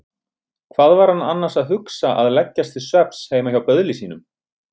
Hvað var hann annars að hugsa að leggjast til svefns heima hjá böðli sínum?